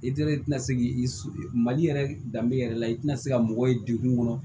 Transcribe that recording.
I teri ti se k'i mali yɛrɛ danbe yɛrɛ la i tɛna se ka mɔgɔ ye degun kɔnɔ